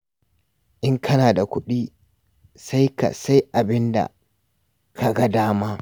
Idan kana da kuɗi sai ka sai abin da ka ga dama.